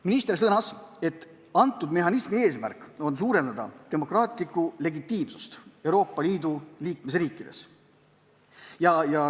Minister sõnas, et mehhanismi eesmärk on suurendada demokraatlikku legitiimsust Euroopa Liidu riikides.